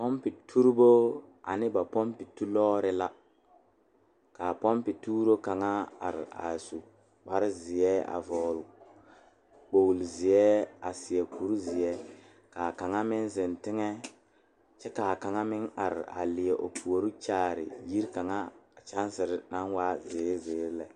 Pɔmpeturibo ane ba pɔmpetulɔɔre la k,a pɔmpetuuro kaŋa are a su kparezeɛ a vɔgle kpoglizeɛ a seɛ kurizeɛ k,a kaŋa meŋ zeŋ teŋɛ kyɛ k,a kaŋa meŋ are a leɛ o puori kyaare yiri kaŋa a kyɛnsere naŋ waa zeere zeere lɛ.